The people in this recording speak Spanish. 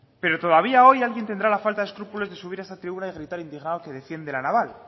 pero todavía hoy alguien tendrá la falta de escrúpulos de subir a esa tribuna y gritar indignado que defiende la naval